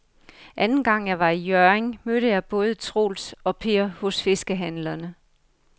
Anden gang jeg var i Hjørring, mødte jeg både Troels og Per hos fiskehandlerne.